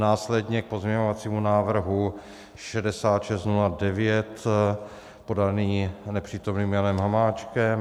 Následně k pozměňovacímu návrhu 6609 podanému nepřítomným Janem Hamáčkem.